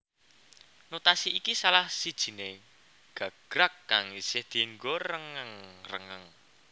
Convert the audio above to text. Notasi iki salah sijine gagrag kang isih dienggo rengeng rengeng